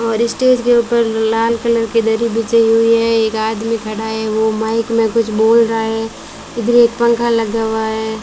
और स्टेज के ऊपर लाल कलर की दरी बिछी हुई है एक आदमी खड़ा है वो माइक में कुछ बोल रहा है ग्रे पंखा लगा हुआ है।